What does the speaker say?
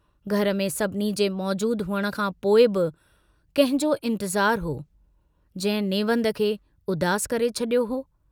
घर में सभिनी जे मौजूद हुअण खां पोइ बि कंहिंजो इंतज़ारु हो, जहिं नेवंद खे उदासु करे छड़ियो हो।